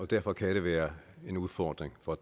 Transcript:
derfor kan det være en udfordring for